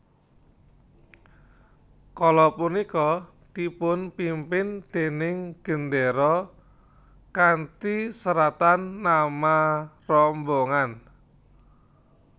Kala punika dipunpimpin déning gendéra kanthi seratan nama rombongan